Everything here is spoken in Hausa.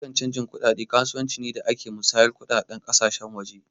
Harkan canji kuɗaɗe kasuwanci ne da ke musayar kuɗaɗen ƙasashen waje